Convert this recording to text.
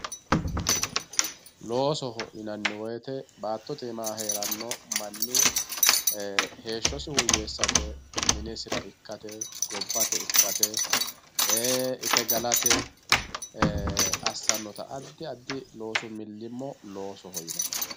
loosoho yinanni woyiite baattotte iima heeranno manni heeshshosi woyeesate minisira ikkate gobbate ikkate ite galate assannota addi addi loosu milimmo loosoho yinanni.